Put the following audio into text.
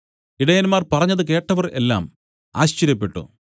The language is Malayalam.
ഇടയന്മാർ പറഞ്ഞത് കേട്ടവർ എല്ലാം ആശ്ചര്യപ്പെട്ടു